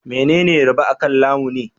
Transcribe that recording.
Menene riba akan lamuni?